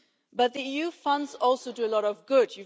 But the EU funds also do a lot of good.